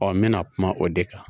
n bɛna kuma o de kan